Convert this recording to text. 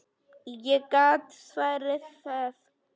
Ég get svarið það.